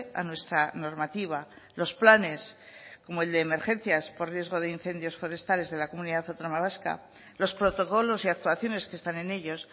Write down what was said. a nuestra normativa los planes como el de emergencias por riesgo de incendios forestales de la comunidad autónoma vasca los protocolos y actuaciones que están en ellos